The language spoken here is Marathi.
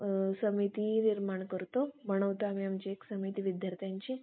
अ एक समिती निर्माण करतो बनवतो आम्ही आमची एक समिती विद्यार्थ्यांची